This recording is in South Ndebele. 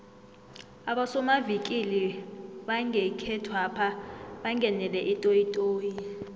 abosomavikili bangekhethwapha bangenele itoyitoyi